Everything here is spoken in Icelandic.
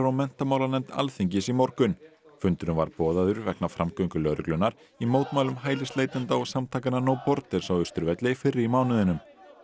menntamálanefnd Alþingis í morgun fundurinn var boðaður vegna framgöngu lögreglunnar í mótmælum hælisleitenda og samtakanna no Borders á Austurvelli fyrr í mánuðinum